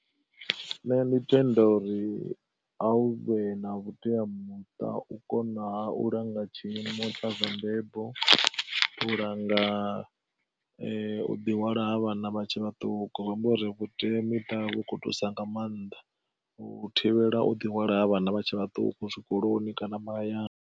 Nṋe ndi tenda uri a u vhe na vhuteamuṱa u kona u langa tshiimo tsha zwa mbebo, u langa u ḓihwala ha vhana vha tshe vhaṱuku zwi amba uri vhuteamiṱa vhu kho thusa nga maanḓa, u thivhela u ḓi hwala ha vhana vha tshe vhaṱuku zwikoloni kana mahayani.